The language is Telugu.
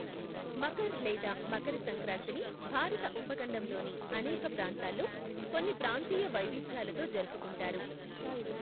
మకర్ లేదా మకర సంక్రాంతిని భారత ఉపఖండంలోని అనేక ప్రాంతాల్లో కొన్ని ప్రాంతీయ వైవిధ్యాలతో జరుపుకుంటారు.